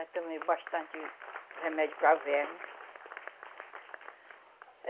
já tomei bastante remédio para verme.